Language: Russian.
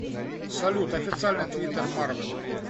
салют официальный твиттер марвел